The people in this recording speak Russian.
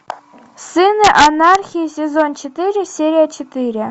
сыны анархии сезон четыре серия четыре